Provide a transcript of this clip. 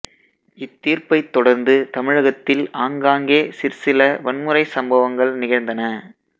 இத்தீர்ப்பைத் தொடர்ந்து தமிழகத்தில் ஆங்காங்கே சிற்சில வன்முறை சம்பவங்கள் நிகழ்ந்தன